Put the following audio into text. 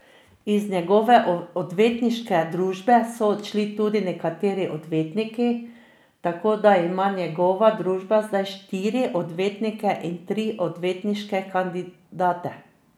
Iz njegove odvetniške družbe so odšli tudi nekateri odvetniki, tako da ima njegova družba zdaj štiri odvetnike in tri odvetniške kandidate.